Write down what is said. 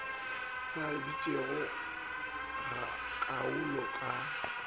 sa bitšego ga kaalo ka